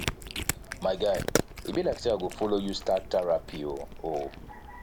my guy e be like say i go follow you start therapy oo